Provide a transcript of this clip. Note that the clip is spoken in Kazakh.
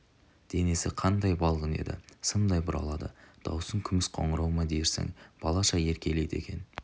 денесі қандай балғын еді сымдай бұралады даусын күміс қоңырау ма дерсің балаша еркелейді екен